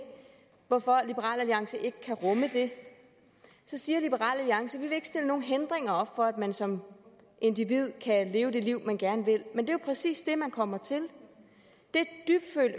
hvorfor liberal alliance ikke kan rumme det så siger liberal alliance vi vil ikke stille nogen hindringer op for at man som individ kan leve det liv man gerne vil men jo præcis det man kommer til det